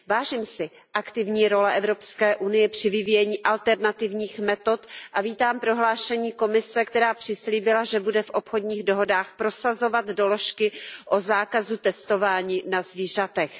Vážím si aktivní role Evropské unie při vyvíjení alternativních metod a vítám prohlášení Komise, která přislíbila, že bude v obchodních dohodách prosazovat doložky o zákazu testování na zvířatech.